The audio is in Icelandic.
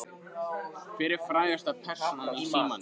Hver er frægasta persónan í símanum þínum?